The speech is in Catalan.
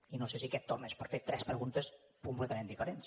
i no sé si aquest torn és per fer tres preguntes completament diferents